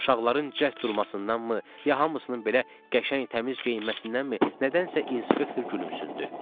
Uşaqların cəld durmasındanmı, ya hamısının belə qəşəng təmiz geyinməsindənmi, nədənsə inspektor gülümsündü.